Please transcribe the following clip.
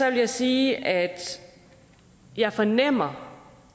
jeg sige at jeg fornemmer